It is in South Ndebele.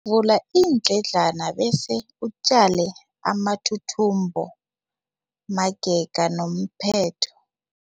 Vula iindledlana bese utjale amathuthumbo magega nomphetho.